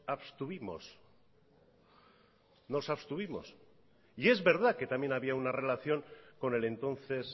abstuvimos nos abstuvimos y es verdad que también había una relación con el entonces